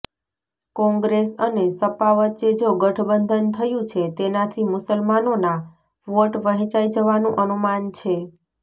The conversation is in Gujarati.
કોંગ્રેસ અને સપા વચ્ચે જો ગઠબંધન થયુ છે તેનાથી મુસલમાનોના વોટ વહેંચાઈ જવાનુ અનુમાન છે